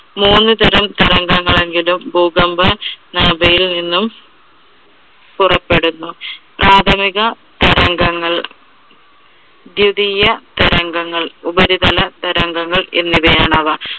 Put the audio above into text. മൂന്നു തരം തരംഗങ്ങൾ എങ്കിലും ഭൂകമ്പ നാഭിയിൽ നിന്നും പുറപ്പെടുന്നു. പ്രാഥമിക തരംഗങ്ങൾ, ദ്വിതിയ തരംഗങ്ങൾ, ഉപരിതല തരംഗങ്ങൾ എന്നിവയാണ് അവ.